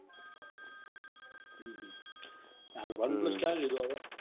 હમ હાલ one plus ક્યારે લીધો હવે?